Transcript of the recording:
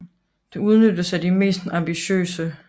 Det udnyttedes af de mest ambitiøse